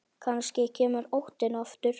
Kannski kemur óttinn aftur.